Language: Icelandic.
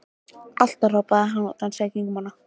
Alltaf! hrópaði hann og dansaði í kringum hana.